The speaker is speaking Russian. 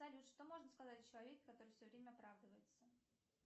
салют что можно сказать о человеке который все время оправдывается